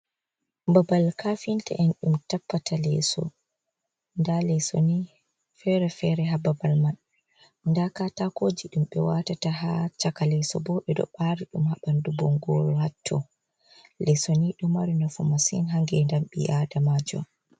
Babal kafinta en ɗum tappata leso. Nda leso ni fere-fere hababal man. Nda katakoji ɗum ɓe wa tata ha chaka leso. Bo ɓe ɗo ɓa ri ɗum ha ɓandu bongoru hatto. Lesoni ɗo mari nafu masin ha ngedam ɓi Adamajo.